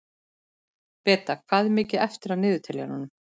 Beta, hvað er mikið eftir af niðurteljaranum?